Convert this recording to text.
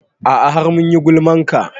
A'a har mun yi gulman ka